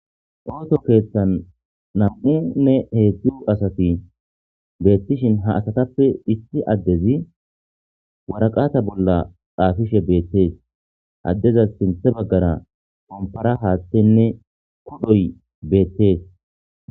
Ooto keeththan nam7u me heedzdzu asati beettishin ha asatappe issi addezi waraqata bolla xaafishe beettees addeza sinthe baggara qompara haaththenne kodhoy beettees.